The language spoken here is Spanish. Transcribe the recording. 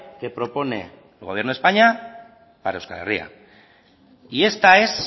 que propone el gobierno de españa para euskal herria y esta es